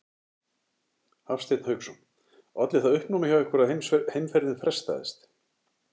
Hafsteinn Hauksson: Olli það uppnámi hjá ykkur að heimferðin frestaðist?